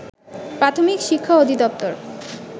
প্রাথমিক শিক্ষা অধিদপ্তর